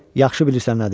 Yaxşı bilirsən nədir.